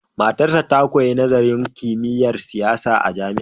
Matarsa ta koyo nazarin kimiyyar siyasa a jami'a.